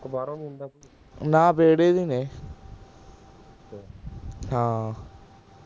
ਨਾ ਵੇਹੜੇ ਦੇ ਹੀ ਨੇ ਹਾਂ